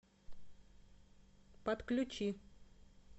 подключи